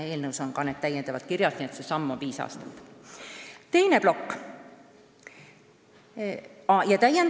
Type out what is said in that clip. Eelnõus on need nõuded kirjas, nii et sammu pikkus on viis aastat.